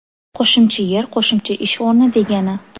Qo‘shimcha yer qo‘shimcha ish o‘rni degani.